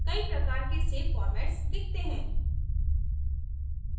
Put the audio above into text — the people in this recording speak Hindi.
कई प्रकार के सेव formats दिखते हैं